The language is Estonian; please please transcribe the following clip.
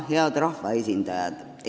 Head rahvaesindajad!